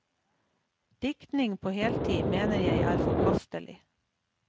Diktning på heltid mener jeg er forkastelig.